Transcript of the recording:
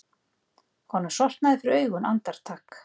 Honum sortnaði fyrir augum andartak.